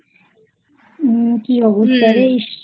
কী অবস্থা রে ইস